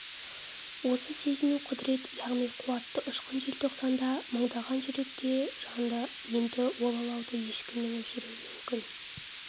осы сезіну құдірет яғни қуатты ұшқын желтоқсанда мыңдаған жүректе жанды енді ол алауды ешкімнің өшіру мүмкін